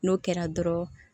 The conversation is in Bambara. N'o kɛra dɔrɔn